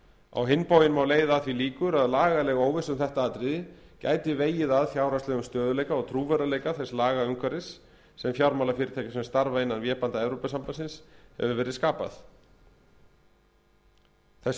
á hinn bóginn má leiða að því líkur að lagaleg óvissa um þetta atriði gæti vegið að fjárhagslegum stöðugleika og trúverðugleika þess lagaumhverfis sem fjármálafyrirtækjum sem starfa innan vébanda evrópusambandsins hefur verið skapað þessum